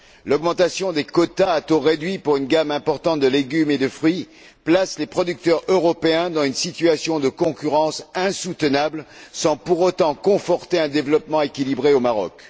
L'augmentation des quotas à taux réduit pour une gamme importante de légumes et de fruits place les producteurs européens dans une situation de concurrence insoutenable sans pour autant conforter un développement équilibré au Maroc.